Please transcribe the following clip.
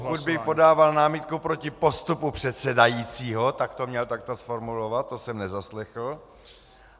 Pokud by podával námitku proti postupu předsedajícího, tak to měl takto zformulovat, to jsem nezaslechl.